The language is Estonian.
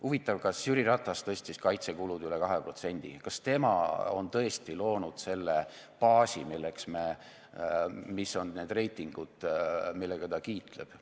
Huvitav, kas Jüri Ratas tõstis kaitsekulud üle 2%, kas tema on tõesti loonud selle baasi, mis on need reitingud, millega ta kiitleb.